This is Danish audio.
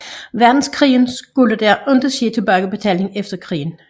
Verdenskrig skulle der ikke ske tilbagebetaling efter krigen